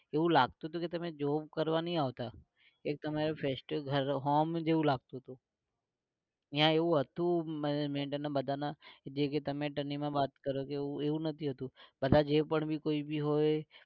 એવું લાગતું તું કે તમે job કરવા નઈ આવતા કઈક તમે festival home જેવું લાગતું તું. ત્યાં એવું હતું madam ને બધા ને જે કે તમે વાત કરો એવું નથી હોતું બહદા જે પણ ભી કોઈ ભી હોય